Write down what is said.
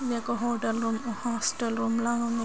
ఇది ఒక hotel room hostel room లాగా ఉంది.